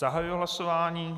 Zahajuji hlasování.